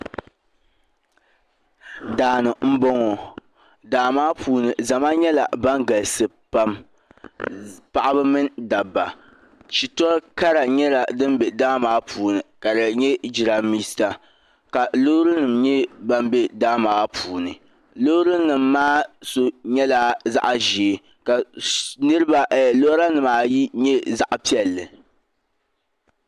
Daani n boŋɔ daamaa puuni zama nyɛla ban galisi pam paɣaba mini dabba shitori Kara nyɛla din be daamaa puuni ka di nyɛ jirambisa ka loorinima nyɛ ban be daamaa puuni loorinima maa so nyɛla zaɣa ʒee ka lora nima ayi nyɛ zaɣapiɛlli.